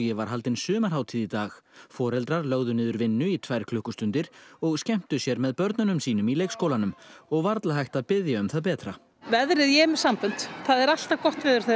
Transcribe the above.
var haldin sumarhátíð í dag foreldrar lögðu niður vinnu í tvær klukkustundir og skemmtu sér með börnum sínum í leikskólanum og varla hægt að biðja um það betra veðrið ég er með sambönd það er alltaf gott verður þegar